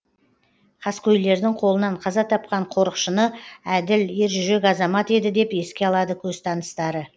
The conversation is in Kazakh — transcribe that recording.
қаскөйлердің қолынан қаза тапқан қорықшыны әділ ержүрек азамат еді деп еске алады көзтаныстары